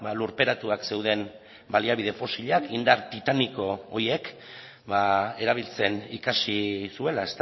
lurperatuak zeuden baliabide fosilak indar titaniko horiek erabiltzen ikasi zuela